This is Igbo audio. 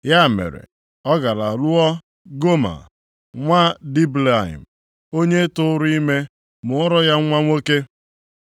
Ya mere, ọ gara lụọ Goma nwa Diblaim, onye tụụrụ ime mụọra ya nwa nwoke.